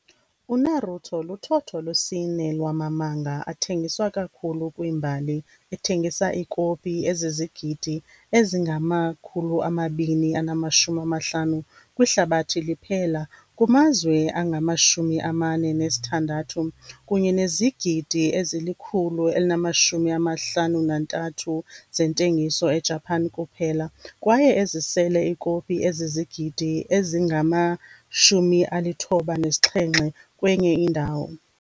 UNaruto luthotho lwesine lwama manga athengiswa kakhulu kwimbali, ethengisa iikopi ezizizigidi ezingama-250 kwihlabathi liphela kumazwe angama-46, kunye nezigidi ezili-153 zentengiso eJapan kuphela kwaye ezisele ikopi ezizigidi ezingama-97 kwenye indawo.